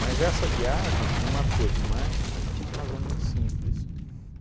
essa viagem me marcou demais por uma razão muito simples.